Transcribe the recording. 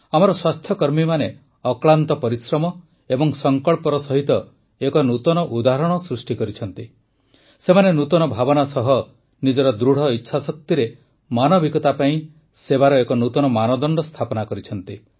ଆମର ସ୍ୱାସ୍ଥ୍ୟକର୍ମୀମାନେ ଅକ୍ଳାନ୍ତ ପରିଶ୍ରମ ଏବଂ ସଂକଳ୍ପର ସହିତ ଏକ ନୂତନ ଉଦାହରଣ ସୃଷ୍ଟି କରିଛନ୍ତି ସେମାନେ ନୂତନ ଭାବନା ସହ ନିଜର ଦୃଢ଼ ଇଚ୍ଛାଶକ୍ତିରେ ମାନବିକତା ପାଇଁ ସେବାର ଏକ ନୂତନ ମାନଦଣ୍ଡ ସ୍ଥାପନା କରିଛନ୍ତି